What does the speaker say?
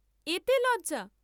এতে লজ্জা!